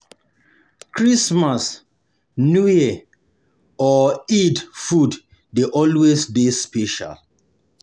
Christmas, new year or Eid food de always dey special